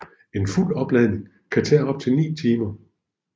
En fuld opladning kan tage op til 9 timer